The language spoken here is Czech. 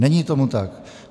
Není tomu tak.